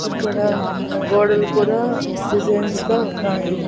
ఇక్కడ గోడలు కూడా డిజైన్స్ గా ఉన్నాయి.